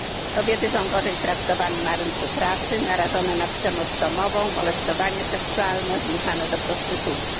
Kobiety są gorzej traktowane na rynku pracy, narażone na przemoc domową, molestowanie seksualne, zmuszane do prostytucji.